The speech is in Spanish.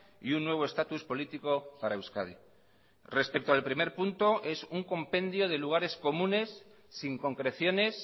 y un nuevo estatus político para euskadi respecto al primer punto es un compendio de lugares comunes sin concreciones